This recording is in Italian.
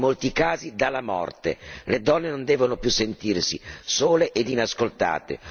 Solo la denuncia tempestiva può salvare dalle violenze e in molti casi dalla morte.